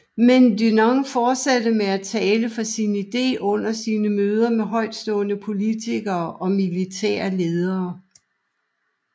Men Dunant fortsatte med at tale for sin idé under sine møder med højtstående politikere og militære ledere